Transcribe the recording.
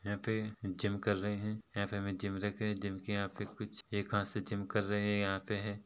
यहाँ पे जिम कर रहे है या फिर जिम देख रहे है यहाँ पे हमे जिम रखे हैं जिम के यहाँ पे कुछ एक हाथ से जिम करने आते हैं।